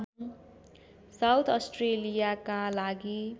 south अस्ट्रेलियाका लागि